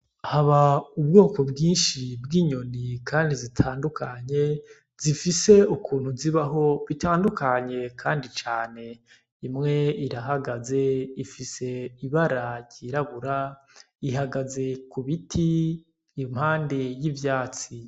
Haba ubwoko bwinshi bw'inyoni kandi zitandukanye zifise ukuntu zibaho bitandukanye kandi cane. Imwe irahagaze ifise ibara ryirabura ihagaze ku biti impande y'ivyatsi.